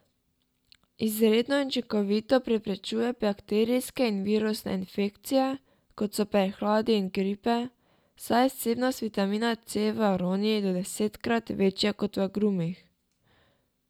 Izredno učinkovito preprečuje bakterijske in virusne infekcije, kot so prehladi in gripe, saj je vsebnost vitamina C v aroniji do desetkrat večja kot v agrumih.